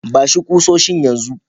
Ba shi kusoshin yan zu.